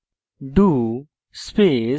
do space